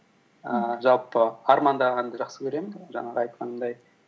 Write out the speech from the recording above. ііі жалпы армандағанды жақсы көремін жаңағы айтқанымдай